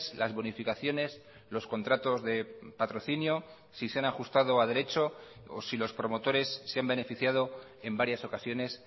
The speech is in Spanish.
las bonificaciones los contratos de patrocinio si se han ajustado a derecho o si los promotores se han beneficiado en varias ocasiones